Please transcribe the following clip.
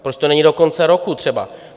Proč to není do konce roku třeba?